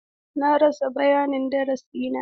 Na rasa bayanin darasi na.